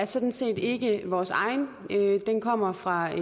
sådan set ikke vores egen den kommer fra